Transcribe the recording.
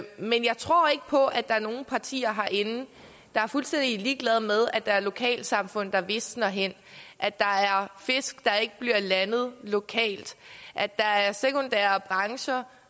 men jeg tror ikke på at der er nogen partier herinde der er fuldstændig ligeglade med at der er lokalsamfund der visner hen at der er fisk der ikke bliver landet lokalt at der er sekundære brancher